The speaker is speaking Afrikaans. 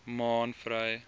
maanvry